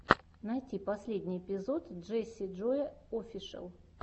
найти последний эпизод джесси джоя офишел